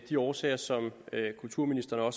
de årsager som kulturministeren